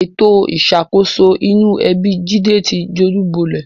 Ètò ìṣàkóso inú ẹbi Jídé ti dojúbolẹ̀